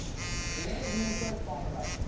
length makers formula